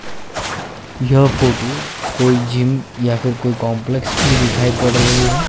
यह फोटू कोई जिम या फिर कोई कॉम्प्लेक्स की दिखाई पड़ रही है।